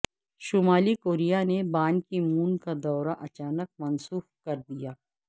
شمالی کوریا نے Ban Ki Moon کا دورہ اچانک منسوخ کر دیا